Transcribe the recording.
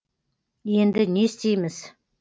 енді не істейміз